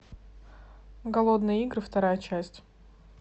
голодные игры вторая часть